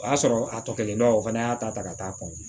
O y'a sɔrɔ a tɔ kɛlen don o fana y'a ta ta ka taa